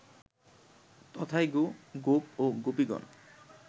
তথায় গো, গোপ ও গোপীগণ